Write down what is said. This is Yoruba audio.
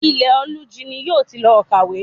Ilẹ̀-olújí ni yóò ti lọ kàwé